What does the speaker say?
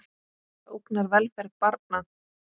Það ógnar velferð barna.